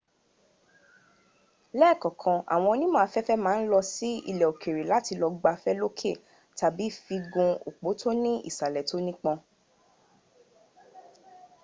lẹ́ẹ̀kọ̀kan àwọn onímọ̀ afẹ́fẹ́ ma ń lọ sí ilẹ̀ òkèrè láti lọ gbafẹ́ lókè tàbí fi gun òpó tó ní ìsàlẹ̀ tó nípọn